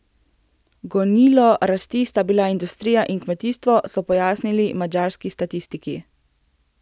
Gonilo rasti sta bila industrija in kmetijstvo, so pojasnili madžarski statistiki.